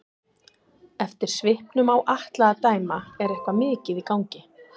Eftir svipnum á Atla að dæma er eitthvað mikið í gangi.